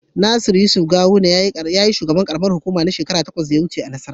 Nasiru yusuf gawuna yayi shugaban Karamar hukuma na shekara takwas a nassarawa